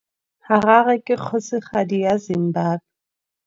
Harare ke kgosigadi ya Zimbabwe.